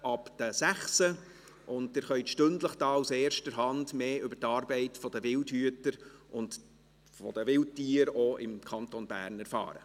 Sie können stündlich aus erster Hand mehr über die Arbeit der Wildhüter und der Wildtiere, auch im Kanton Bern, erfahren.